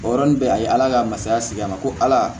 O yɔrɔnin bɛɛ a ye ala ka masaya sigi a ma ko ala